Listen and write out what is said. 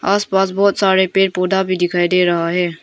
आसपास बहोत सारे पेड़ पौधा भी दिखाई दे रहा है।